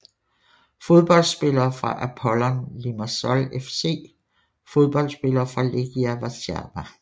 Fodboldspillere fra Apollon Limassol FC Fodboldspillere fra Legia Warszawa